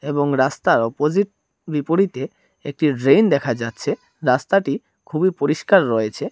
এবং রাস্তার অপোজিট বিপরীতে একটি ড্রেন দেখা যাচ্ছে রাস্তাটি খুবই পরিষ্কার রয়েছে।